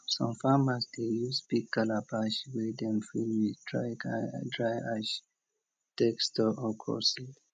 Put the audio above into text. some farmers dey use big calabash wey dem fill with dry ash take store okra seed